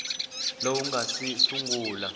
lowu wu nga si sungula